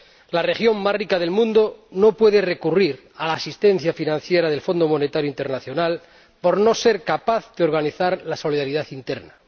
La región más rica del mundo no puede recurrir a la asistencia financiera del Fondo Monetario Internacional por no ser capaz de organizar la solidaridad interna.